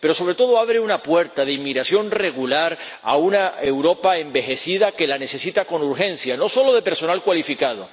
Pero, sobre todo, abre una puerta de inmigración regular a una Europa envejecida que la necesita con urgencia, no solo de personal cualificado.